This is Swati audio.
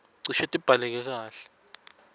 cishe tibhaleke kahle